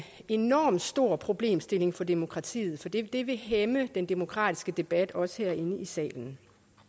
enormt stor problemstilling for demokratiet for det det vil hæmme den demokratiske debat også herinde i salen